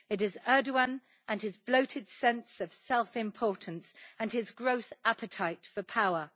It is Erdogan and his bloated sense of self-importance and his gross appetite for power.